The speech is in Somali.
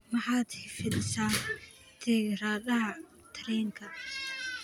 maxad hifadhisa tigidhada tareenka